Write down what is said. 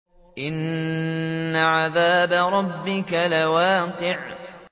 إِنَّ عَذَابَ رَبِّكَ لَوَاقِعٌ